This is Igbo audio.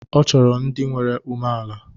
Ọ chọrọ ndị nwere umeala.